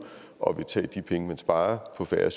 og vil tage de penge man sparer på færre